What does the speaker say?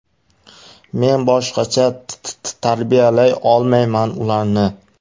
Men boshqacha tarbiyalay olmayman ularni.